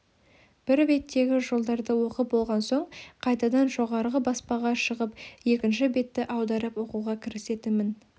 бір беттегі жолдарды оқып болған соң қайтадан жоғарғы баспаға шығып екінші бетті аударып оқуға кірісетінмін